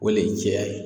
O le ye jɛya ye